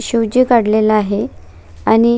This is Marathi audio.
शिवजी काढलेला आहे आणि--